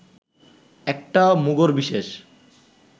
একটা মুগুরবিশেষ